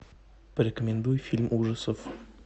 порекомендуй фильм ужасов